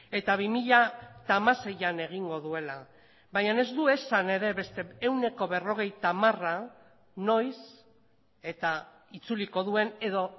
eta bi mila hamaseian egingo duela baina ez du esan ere beste ehuneko berrogeita hamara noiz eta itzuliko duen edo